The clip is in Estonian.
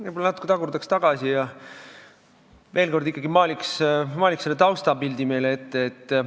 Võib-olla natuke tagurdaks ja maaliks ikkagi veel kord meile taustapildi silme ette.